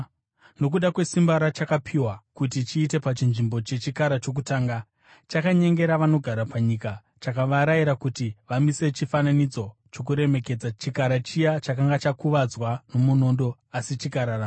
Nokuda kwesimba rachakapiwa kuti chiite pachinzvimbo chechikara chokutanga, chakanyengera vanogara panyika. Chakavarayira kuti vamise chifananidzo chokuremekedza chikara chiya chakanga chakuvadzwa nomunondo asi chikararama.